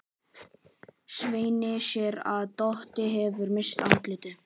Svenni sér að Doddi hefur misst andlitið.